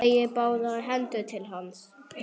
Teygir báðar hendur til hans.